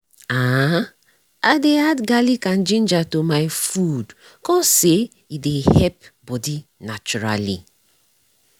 ah i dey add garlic and ginger to my food cause say e dey help bodi naturally.